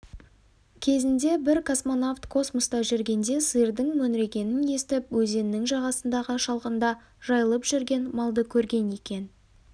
кезінде бір космонавт космоста жүргенде сиырдың мөңірегенін естіп өзеннің жағасындағы шалғында жайылып жүрген малды көрген екен